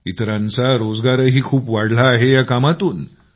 इतरांना रोजगारही खूप वाढला आहे या कामातून